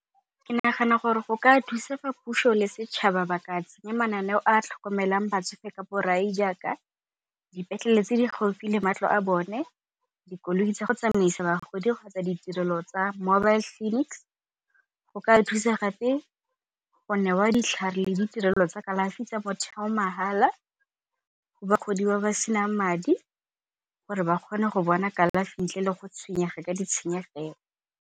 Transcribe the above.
Ke nagana gore go ka thusa fa puso le setšhaba ba ka tsenya mananeo a a tlhokomelang batsofe ka borai jaaka dipetlele tse di gaufi le matlo a bone, dikoloi tsa go tsamaisa bagodi kgotsa ditirelo tsa mobile clinics. Go ka thusa gape go newa ditlhare le ditirelo tsa kalafi tsa motheo mahala go bagodi ba ba se nang madi gore ba kgone go bona kalafi ntle le go tshwenyega ka ditshenyegelo.